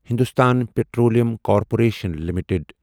Hindustan petroleum corporation limited